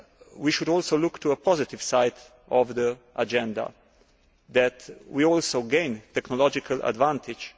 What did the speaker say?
We should also look to a positive side of the agenda that we also gain a technological advantage.